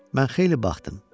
Mən xeyli baxdım.